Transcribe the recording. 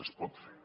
es pot fer